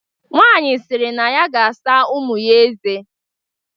Nwaanyị sịrị na ya ga-asa ụmụ ya eze.